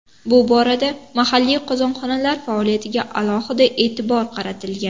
Bu borada mahalliy qozonxonalar faoliyatiga alohida e’tibor qaratilgan.